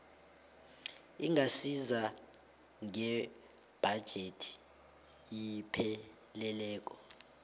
ingasiza ngebhajethi epheleleko